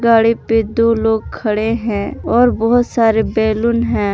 गाड़ी पे दो लोग खड़े हैं और बहुत सारे बैलून हैं।